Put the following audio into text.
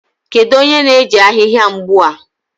Kedu onye na-eji ahịhịa mgbu a?